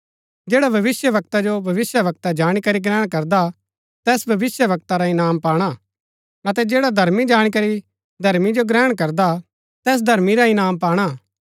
जैडा भविष्‍यवक्ता जो भविष्‍यवक्ता जाणी करी ग्रहण करदा तैस भविष्‍यवक्ता रा इनाम पाणा अतै जैडा धर्मी जाणी करी धर्मी जो ग्रहण करदा तैस धर्मी रा इनाम पाणा